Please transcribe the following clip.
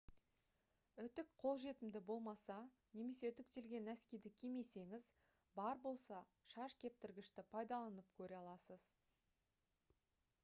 үтік қолжетімді болмаса немесе үтіктелген нәскиді кимесеңіз бар болса шаш кептіргішті пайдаланып көре аласыз